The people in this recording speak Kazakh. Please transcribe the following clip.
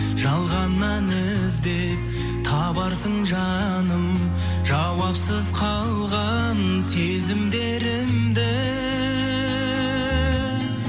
жалғаннан іздеп табарсың жаным жауапсыз қалған сезімдерімді